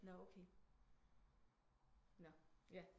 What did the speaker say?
Nå okay nå ja